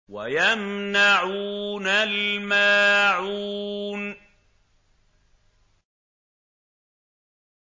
وَيَمْنَعُونَ الْمَاعُونَ